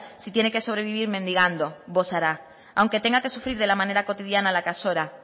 si tiene que sobrevivir mendigando bosará aunque tenga que sufrir de la manera cotidiana a la que azora